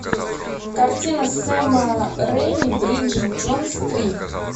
картина сэма рэйми бриджит джонс три